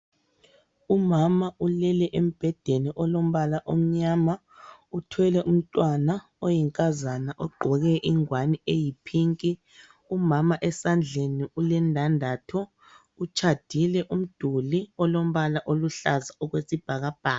Umama ulele embedeni olombala omnyama, uthwele umntwana oyinkazana ogqoke ingwane eyipink. Umama esandleni ulendandatho utshadile, umduli olombala oluhlaza okwezibhakabhaka.